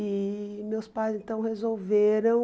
E meus pais então resolveram...